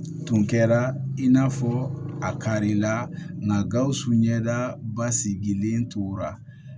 Tun kɛra in n'a fɔ a karila nga gawusu ɲɛda basigilen tora